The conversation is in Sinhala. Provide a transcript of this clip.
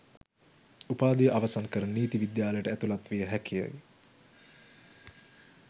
උපාධිය අවසන් කර නීති විද්‍යාලයට ඇතුළත් විය හැකියි